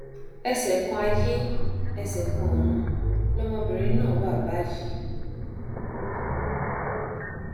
ẹṣẹ kan ayé ẹsẹ kan ọrun lọmọbìnrin náà wà báyìí